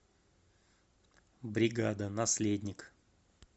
бригада наследник